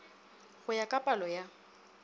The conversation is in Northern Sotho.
go ya ka palo ya